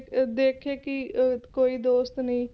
ਅਹ ਦੇਖੇ ਕਿ ਅਹ ਕੋਈ ਦੋਸਤ ਨੀ